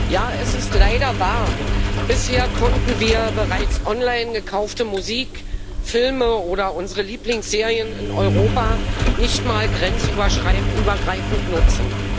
Ja, es ist leider wahr Bisher konnten wir bereits online gekaufte Musik, Filme oder unsere Lieblingsserien in Europa nicht einmal grenzübergreifend nutzen.